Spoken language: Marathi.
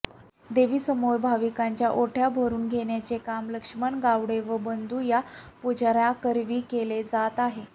देवीसमोर भाविकांच्या ओट्या भरुन घेण्याचे काम लक्ष्मण गावडे व बंधू या पुजर्यांकरवी केले जातआहे